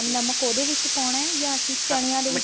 ਨਮਕ ਉਹਦੇ ਵਿੱਚ ਪਾਉਣਾ ਜਾਂ ਅਸੀਂ ਚਣੇਆਂ ਦੇ